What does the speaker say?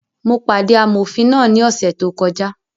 Mo pàdé amọ̀fin náà ní ọ̀sẹ̀ tó kọjá